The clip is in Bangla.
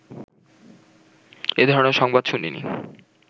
এ ধরণের সংবাদ শুনিনি